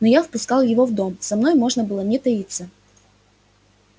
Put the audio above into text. но я впускал его в дом со мной можно было не таиться